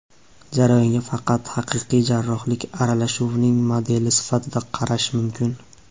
Jarayonga faqat haqiqiy jarrohlik aralashuvining modeli sifatida qarash mumkin.